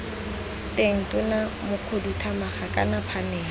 teng tona mokhuduthamaga kana phanele